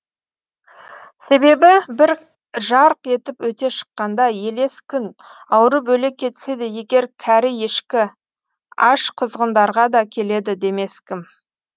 себебі бір жарқ етіп өте шыққанда елес күн ауырып өле кетсе де егер кәрі ешкі аш құзғындарға да келеді демескім